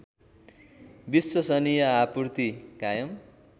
विश्वसनीय आपूर्ति कायम